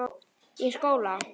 Í skóla?